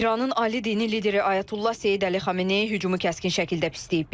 İranın Ali dini lideri Ayətullah Seyid Əli Xamenei hücumu kəskin şəkildə pisləyib.